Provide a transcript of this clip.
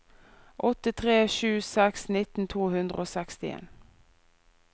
åtte tre sju seks nitten to hundre og sekstien